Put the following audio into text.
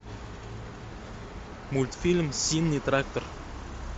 мультфильм зимний трактор